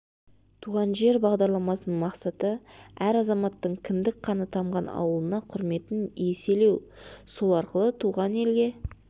туған жер бағдарламасының мақсаты әр азаматтың кіндік қаны тамған ауылына құрметін еселеу сол арқылы туған елге